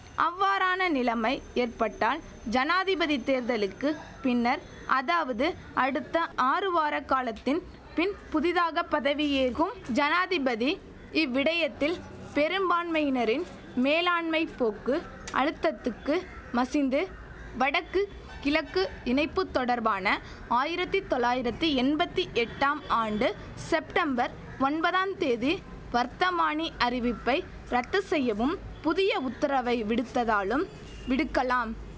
அவ்வாறான நிலமை ஏற்பட்டால் ஜனாதிபதி தேர்தலுக்கு பின்னர் அதாவது அடுத்த ஆறு வார காலத்தின் பின் புதிதாக பதவியேற்கும் ஜனாதிபதி இவ்விடயத்தில் பெரும்பான்மையினரின் மேலாண்மைப் போக்கு அழுத்தத்துக்கு மசிந்து வடக்கு கிழக்கு இணைப்பு தொடர்பான ஆயிரத்தி தொளாயிரத்தி எண்பத்தி எட்டாம் ஆண்டு செப்டம்பர் ஒன்பதாம் தேதி வர்த்தமானி அறிவிப்பை ரத்து செய்யவும் புதிய உத்தரவை விடுத்ததாலும் விடுக்கலாம்